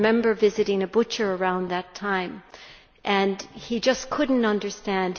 I remember visiting a butcher around that time and he just could not understand.